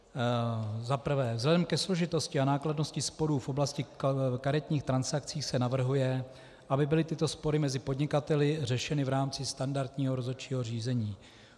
Za prvé, vzhledem ke složitosti a nákladnosti sporů v oblasti karetních transakcí se navrhuje, aby byly tyto spory mezi podnikateli řešeny v rámci standardního rozhodčího řízení.